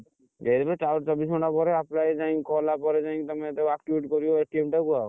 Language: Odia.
ଦେଇଦେବେ ତାପରେ ଚବିଶି ଘଣ୍ଟା ପରେ apply କଲା ପରେ ଯାଇକି ତମେ ତାକୁ activate କୁ ଆଉ,